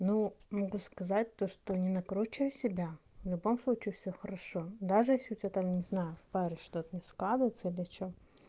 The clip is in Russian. но могу сказать то что не накручивай себя в любо случаи всё хорошо даже если у тебя там не знаю в паре что-то не складывается или что